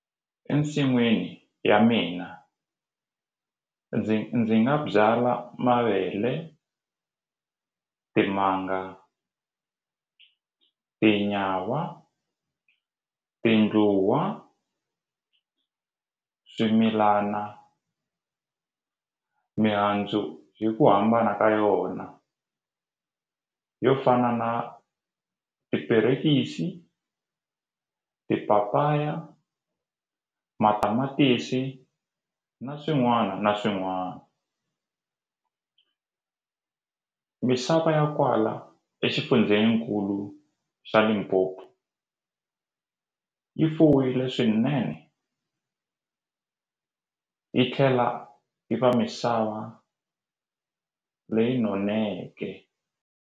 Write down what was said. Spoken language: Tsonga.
Ensin'wini ya mina ndzi ndzi nga byala mavele timanga tinyawa tindluwa swimilana mihandzu hi ku hambana ka yona yo fana na tiperekisi tipapaya matamatisi na swin'wana na swin'wana misava ya kwala exifundzenikulu xa Limpopo yi fuwile swinene yi tlhela yi va misava leyi noneke.